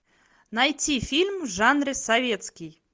найти фильм в жанре советский